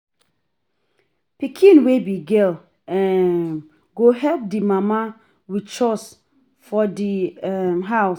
Pikin wey be girl um go help di mama with chores for di um house